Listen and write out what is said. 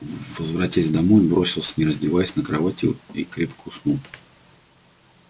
возвратясь домой он бросился не раздеваясь на кровать и крепко уснул